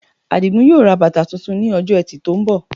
Àdìgún yóò ra bàtà tuntun ní Ọjọ́ Ẹtì tó ń bọ̀